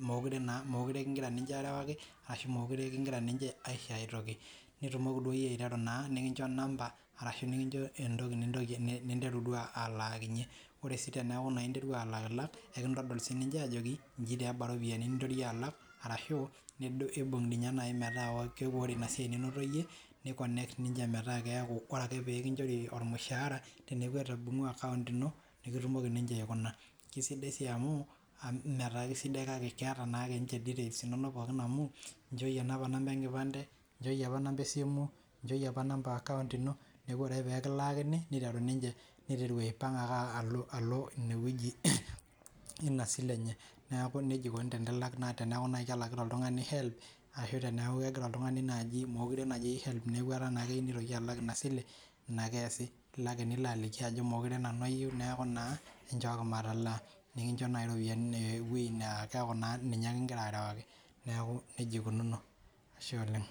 mekure naa, mekure kigira ninche aarewaki ashu mekure kigira aisho ae toki nitumoki duo iyie aiteru naa nikincho number ashu tenikincho entoki ninteru duo alaakinye. Ore sii teneeku naa interwa alakilak nekintodol siininche ajoki nji taa eba iropiyiani ninteru iyie alak arashu imbung ninye naai metaa ore ina siai ninoto iyie ni connect ninche metaa keeku ore ake pee kinchori ormushaara teneeku etijing'wa account ino nekitumoki ninche aikuna. Kesidai sii amu mee taa sidai kake keeta na ninche details inonok pookin amu inchooyie naa opa number e nkipande, nchooyie opa number esimu, nchooyie opa number e account ino. Neeku ore ake peekilaki niteru ninche, niteru aipang alo inewueji ina sile enye. Neeku ikuni tenelak, teneeku naai kelakita oltung'ani HELB ashu teneeku kegira oltung'ani naaji, mekure eyieu naaji HELB neeku etaa keyieu nitoki alak ina sile. Ina ake eesi, ilo ake nilo alikio ajo meekure nanu ayieu neeku naa enchooki matalaa. Nikincho naai iropiyiani, ewuei naa keeku naa ninye ake igira arewaki. Neeku nija ikununo, ashe oleng